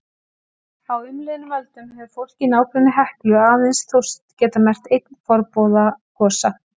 Á umliðnum öldum hefur fólk í nágrenni Heklu aðeins þóst geta merkt einn forboða gosa.